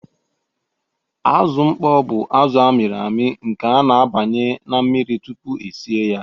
Azụ mkpọ bụ azụ a mịrị amị nke a na-abanye na mmiri tupu e si ya.